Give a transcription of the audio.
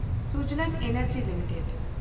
Suzlon energy limited